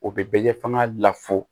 O bɛ bɛ kɛ fanga la fo